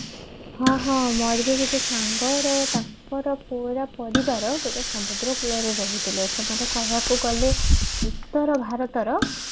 ହଁ ହଁ ମୋର ବି ଗୋଟେ ସଙ୍ଗର ତାଙ୍କର ପୁରା ପରିବାର ଗୋଟେ ସମୁଦ୍ର କୂଳରେ ରହୁଥିଲେ ସେମାନେ ଗଲେ ବିସ୍ତାର ଭାରତର